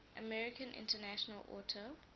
american international auto